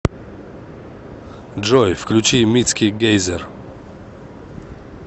джой включи митски гейзер